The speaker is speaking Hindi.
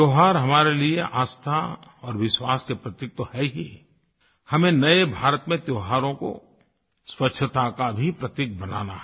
त्योहार हमारे लिए आस्था और विश्वास के प्रतीक तो हैं ही हमें नये भारत में त्योहारों को स्वच्छता का भी प्रतीक बनाना है